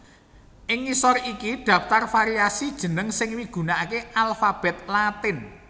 Ing ngisor iki dhaptar variasi jeneng sing migunakaké alfabet Latin